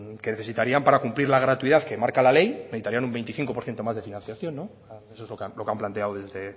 que necesitarían para cumplir la gratuidad que marca la ley necesitarían un veinticinco por ciento más de financiación eso es lo que han planteado desde